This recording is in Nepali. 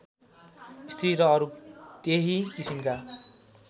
स्त्री र अरू त्यही किसिमका